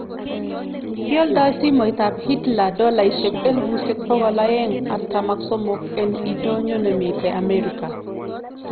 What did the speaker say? kialdo simoit ap Hitler dolaisiek elipusiek pogol aeng, artam ak somok, en indonyo nemiten America